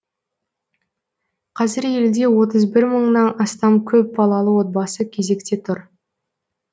қазір елде отыз бір мыңнан астам көпбалалы отбасы кезекте тұр